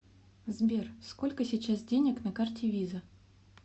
сбер сколько сейчас денег на карте виза